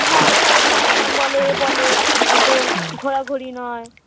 ভয়ে ভয়ে থাকতাম বলো এ বলো অত ঘোরাঘুরি নয়